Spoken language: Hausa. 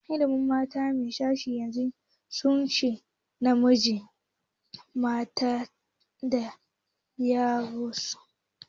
Iyalin mata da mijinta sai 'ya'yansu ya kunshi namiji mata da yaransu